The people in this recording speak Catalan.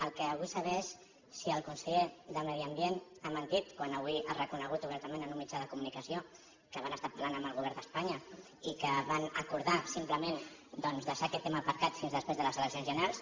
el que vull saber és si el conseller de medi ambient ha mentit quan avui ha reconegut obertament en un mitjà de comunicació que van estar parlant amb el govern d’espanya i que van acordar simplement doncs deixar aquest tema aparcat fins després de les eleccions ge nerals